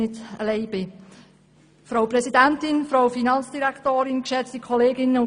Ich bin froh, dass ich nicht allein bin.